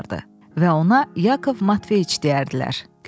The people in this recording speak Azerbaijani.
Və ona Yakov Matveyiç deyərdilər.